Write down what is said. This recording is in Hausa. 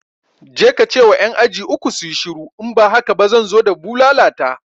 Je kace wa ƴan aji uku suyi shiru in ba haka ba zan zo da bulala ta